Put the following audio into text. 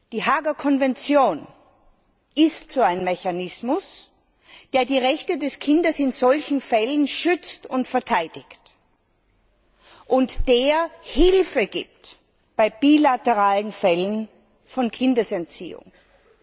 Die Haager Konvention ist so ein Mechanismus, der die Rechte des Kindes in solchen Fällen schützt und verteidigt und der Hilfe bei bilateralen Fällen von Kindesentziehung bietet.